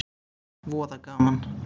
Voða gaman.